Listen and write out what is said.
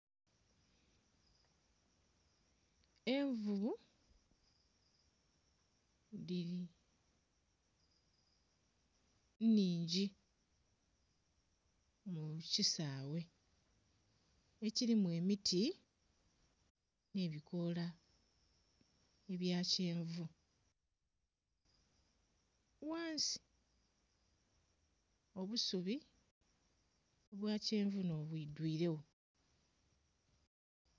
Envuvu dhili nnhingi mu kisaaghe ekilimu emiti nhe bikoola ebya kyenvu. Ghansi obusubi obwa kyenvu nho bwi dhuiregho.